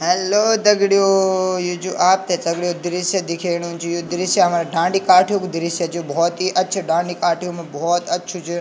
हेल्लो दगडियों ये जू आपथे दगडियों दृश्य दिखेणु च यु दृश्य हमर ढांडी काठियूँ कू दृश्य च यु भौत ही अच्छी डांडी काठियूँ म भौत अच्छू च।